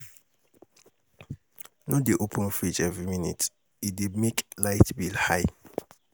No dey open fridge every minute, e dey make light bill high.